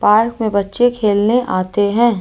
Park में बच्चे खेलने आते हैं।